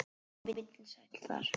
Hann var vinsæll þar.